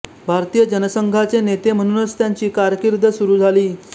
भारतीय जनसंघाचे नेते म्हणूनच त्यांची कारकीर्द सुरू झाली